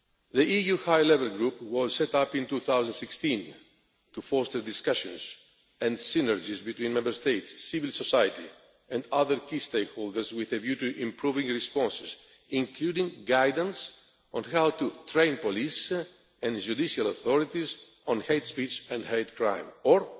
The EU High Level Group was set up in 2016 to foster discussions and synergies between Member States, civil society and other key stakeholders with a view to improving responses, including guidance on how to train police and judicial authorities on hate speech and hate crime, and